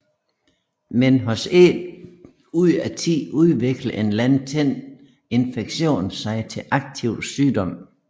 Men hos én ud af ti udvikler en latent infektion sig til aktiv sygdom